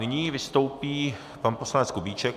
Nyní vystoupí pan poslanec Kubíček.